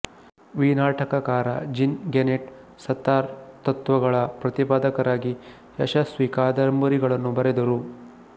ವಿನಾಟಕಕಾರ Jean Genet Sartre ತತ್ತ್ವಗಳ ಪ್ರತಿಪಾದಕರಾಗಿ ಯಶಸ್ವಿ ಕಾದಂಬರಿಗಳನ್ನು ಬರೆದರು